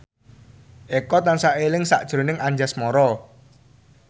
Eko tansah eling sakjroning Anjasmara